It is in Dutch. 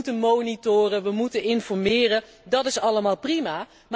We moeten monitoren, we moeten informeren, dat is allemaal prima.